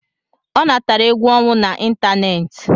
Ọ natara egwu ọnwụ na ịntanetị